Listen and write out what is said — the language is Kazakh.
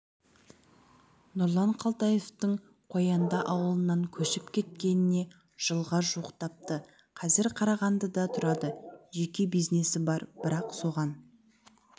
нұрлан қалтаевтың қоянды ауылынан көшіп кеткеніне жылға жуықтапты қазір қарағандыда тұрады жеке бизнесі бар бірақ соған